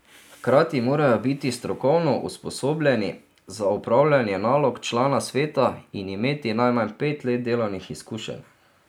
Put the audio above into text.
Hkrati morajo biti strokovno usposobljeni za opravljanje nalog člana sveta in imeti najmanj pet let delovnih izkušenj.